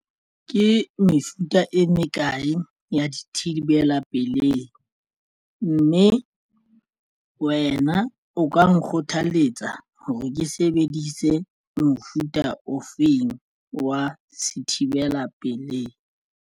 Ke mefuta e mekae ya dithibela pelei mme wena o ka nkgothaletsa hore ke sebedise mofuta ofeng wa se thibela pelehi?